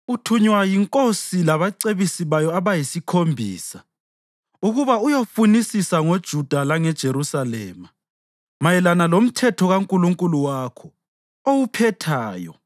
Uthunywa yinkosi labacebisi bayo abayisikhombisa ukuba uyofunisisa ngoJuda langeJerusalema mayelana loMthetho kaNkulunkulu wakho, owuphetheyo.